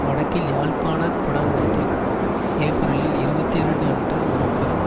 வடக்கில் யாழ்ப்பாண குடாநாட்டின் ஏப்பிரல் இருபத்தி இரண்டு அன்று ஒரு பெரும்